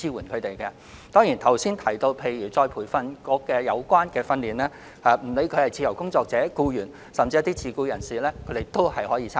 至於主體答覆所述的再培訓局培訓課程，不論是自由職業者、僱員，還是自僱人士，皆可參加。